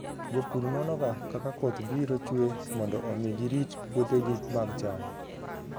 Jopur nonoga kaka koth biro chue mondo omi girit puothegi mag cham.